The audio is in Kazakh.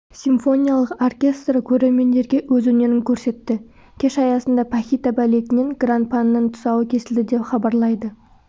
симфониялық оркестрі көрермендерге өз өнерін көрсетті кеш аясында пахита балетінен гран-паның тұсауы кесілді деп хабарлайды